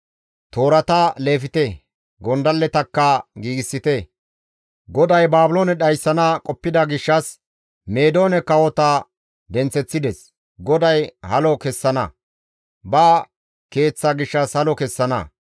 «Toorata leefte; gondalletakka giigsite; GODAY Baabiloone dhayssana qoppida gishshas Meedoone kawota denththeththides; GODAY halo kessana; ba Keeththa gishshas halo kessana.